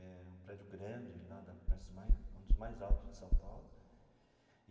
É um prédio grande, lá da Prestes Maia um dos mais altos de São Paulo.